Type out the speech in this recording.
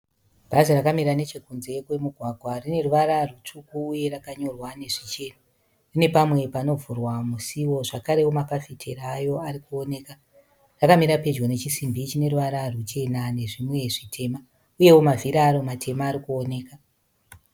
Bhazi rakamira nechekunze kwemugwagwa. Rineruvara rwutsvuku uye rakanyorwa nezvichena. Rine pamwe panovhurwa musiwo zvakarewo mafafitera ayo arikuoneka. Rakamira pedyo nechisimbi chineruvata rwuchena nezvimwe zvitema uyewo mavhiri aro matema arikuoneka.